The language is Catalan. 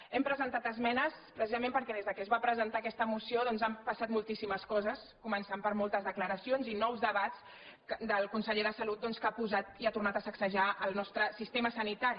hi hem presentat esmenes precisament perquè des que es va presentar aquesta moció doncs han passat moltíssimes coses començant per moltes declaracions i nous debats del conseller de salut doncs que han posat i han tornar a sacsejar el nostre sistema sanita·ri